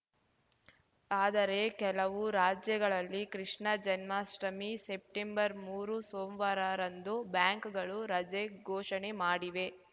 ಆದರೆ ಕೆಲವು ರಾಜ್ಯಗಳಲ್ಲಿ ಕೃಷ್ಣ ಜನ್ಮಾಷ್ಟಮಿ ಸೆಪ್ಟೆಂಬರ್ಮೂರ ಸೋಮ್ವಾರರಂದು ಬ್ಯಾಂಕ್‌ಗಳು ರಜೆ ಘೋಷಣೆ ಮಾಡಿವೆ